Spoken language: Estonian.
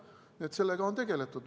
Nii et sellega on tegeldud.